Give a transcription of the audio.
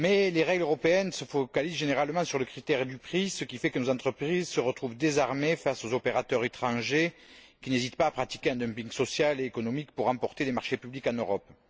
Les règles européennes se focalisent généralement sur le critère du prix, ce qui fait que nos entreprises se retrouvent désarmées face aux opérateurs étrangers qui n'hésitent pas à pratiquer un dumping social et économique pour emporter les marchés publics en Europe.